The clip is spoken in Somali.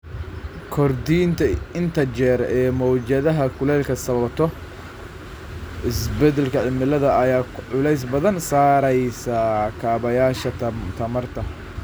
Kordhinta inta jeer ee mowjadaha kulaylka sababtoo ah isbeddelka cimilada ayaa culays badan saaraysa kaabayaasha tamarta.